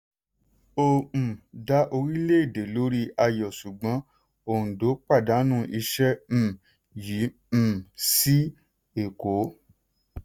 ó um dá orílẹ̀-èdè lórí ayọ̀ ṣùgbọ́n òǹdó pàdánù iṣẹ́ um yìí um sí èkó.